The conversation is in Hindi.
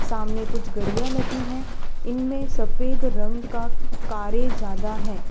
सामने कुछ गड़ियां लगी है इनमें सफेद रंग का कारें ज्यादा हैं।